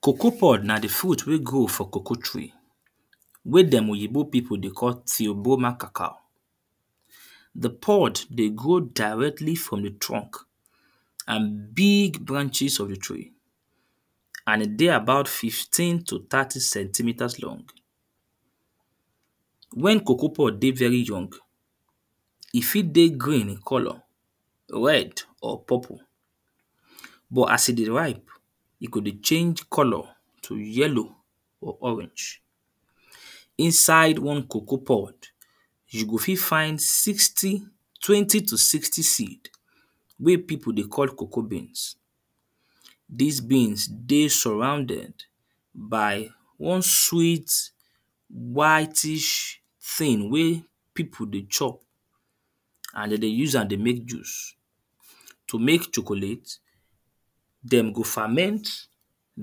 Cocoa pod na the fruit wey grow for cocoa tree, wey them oyinbo people dey call tiobomacacal. The pod dey grow directly from the trunk and big branches of the tree and e dey about fifteen to thirty centimetres long. When cocoa pod dey very young, e fit dey green in colour, red or purple. But as e dey ripe, e go dey change colour to yellow or orange. Inside one cocoa pod, you go fit find sixty, twenty to sixty seeds wey people dey call cocoa beans. These beans dey surrounded by one sweet whitish thing wey people dey chop and then dey use am dey make juice. To make chocolate, then go ferment,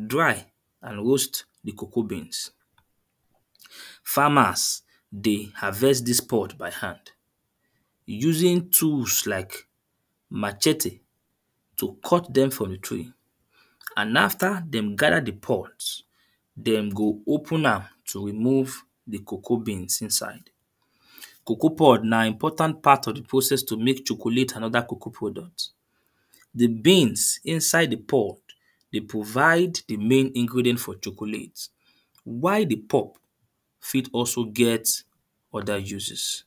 dry and roast the cocoa beans. Farmers dey harvest this pod by hand, using tools like machete to cut them from the tree and after them gather the pods, them go open am to remove the cocoa beans inside. Cocoa pod na important part of the process to make chocolate and other cocoa product. The beans inside the pod dey provide the main ingredient for chocolate, while the pod fit also get other uses.